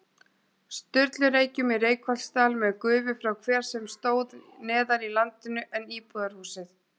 Sturlureykjum í Reykholtsdal með gufu frá hver sem stóð neðar í landinu en íbúðarhúsið.